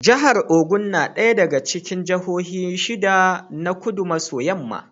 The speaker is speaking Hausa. Jahar Ogun na ɗaya daga cikin jahohin shida na Kudu maso yamma.